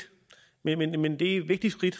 men men det er et vigtigt skridt